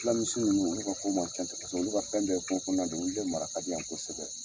Fila misi ninnu olu ka ko man ca ten kosɛbɛ olu ka fɛn bɛɛ ye kungo kɔnɔna de ye olu de mara ka di yan kosɛbɛ.